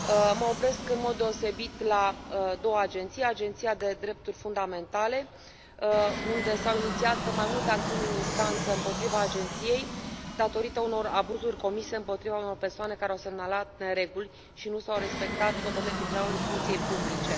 Mă opresc în mod deosebit la două agenții Agenția pentru Drepturi Fundamentale, unde s au inițiat mai multe acțiuni în instanță împotriva agenției datorită unor abuzuri comise împotriva unor persoane care au semnalat nereguli și nu s au respectat hotărârile Tribunalului Funcției Publice.